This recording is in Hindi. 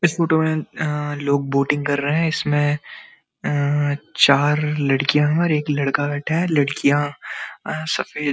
इस फोटो में अअ लोग बोटिंग कर रहे हैं इसमें चार लड़कियाँ हैं और एक लड़का बैठा है लड़कियाँ अ सब --